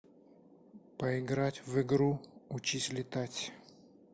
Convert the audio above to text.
поиграть в игру учись летать